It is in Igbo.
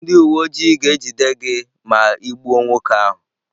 Ndị uwe ojii ga-ejide gị ma ị gbuo nwoke ahụ.